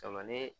Caman ne